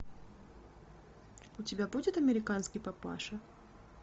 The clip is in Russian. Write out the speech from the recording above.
у тебя будет американский папаша